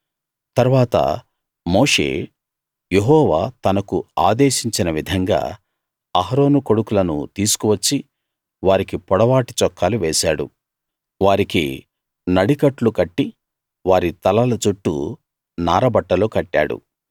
తరువాత మోషే యెహోవా తనకు ఆదేశించిన విధంగా అహరోను కొడుకులను తీసుకు వచ్చి వారికి పొడవాటి చొక్కాలు వేశాడు వారికి నడికట్లు కట్టి వారి తలల చుట్టూ నార బట్టలు కట్టాడు